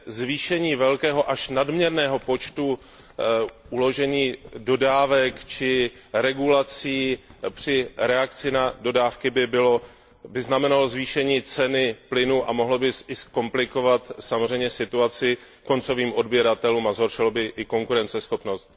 zvýšení velkého až nadměrného počtu uložení dodávek či regulací při reakci na dodávky by znamenalo zvýšení ceny plynu a mohlo by zkomplikovat samozřejmě situaci koncovým odběratelům a zhoršilo by i konkurenceschopnost.